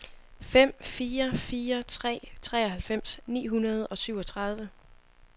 fem fire fire tre treoghalvfems ni hundrede og syvogtredive